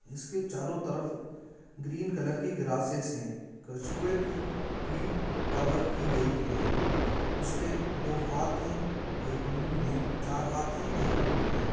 इसके चारों तरफ ग्रीन कॉलर की ग्रासेस है कछुए की पीठ कवर की गई है उसके दो हाथ हैएक मुह है चार हाथ है एक मूंह है।